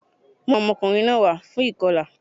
Mú àwọn ọmọkùnrin náà wá fún ìkọlà